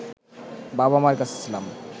বাবা-মার কাছে ছিলাম